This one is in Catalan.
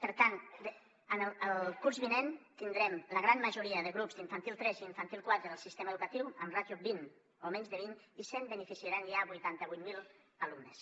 per tant el curs vinent tindrem la gran majoria de grups d’infantil tres i d’infantil quatre del sistema educatiu amb ràtio vint o menys de vint i se’n beneficiaran ja vuitanta vuit mil alumnes